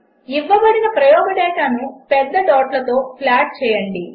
ఇవ్వబడిన ప్రయోగ డేటాను పెద్ద డాట్లతో ప్లాట్ చేయండి